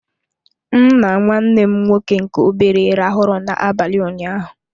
M na nwanne m nwoke nke obere rahụrụ na abalị ụnyaahụ.